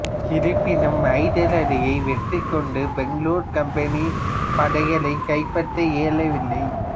இருப்பினும் ஐதர் அலியை வெற்றி கொண்டு பெங்களூரை கம்பெனிப் படைகளல் கைப்பற்ற இயலவில்லை